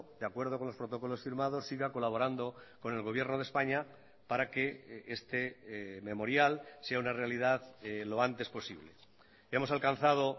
de acuerdo con los protocolos firmados siga colaborando con el gobierno de españa para que este memorial sea una realidad lo antes posible hemos alcanzado